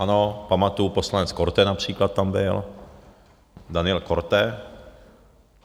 Ano, pamatuji, poslanec Korte například tam byl, Daniel Korte.